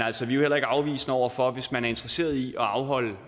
altså heller ikke afvisende over for det hvis man er interesseret i at afholde